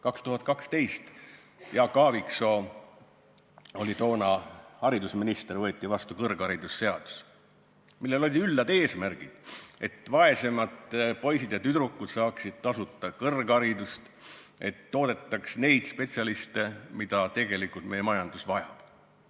2012. aastal – Jaak Aaviksoo oli toona haridusminister – võeti vastu kõrgharidusseadus, millel olid üllad eesmärgid: et vaesemad poisid ja tüdrukud saaksid tasuta kõrgharidust ning et toodetaks neid spetsialiste, keda meie majandus tegelikult vajab.